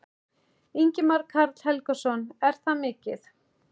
Ingimar Karl Helgason: Er það mikið?